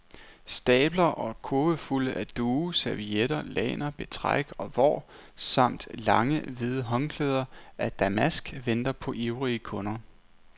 Stabler og kurvefulde af duge, servietter, lagner, betræk og vår, samt lange hvide håndklæder af damask venter på ivrige kunder.